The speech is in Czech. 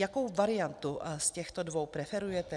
Jakou variantu z těchto dvou preferujete?